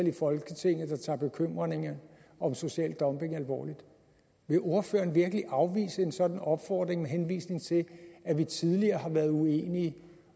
i folketinget der tager bekymringerne om social dumping alvorligt vil ordføreren virkelig afvise en sådan opfordring med henvisning til at vi tidligere har været uenige